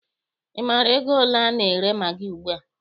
Ị maara ego ole a na-ere magị ugbua?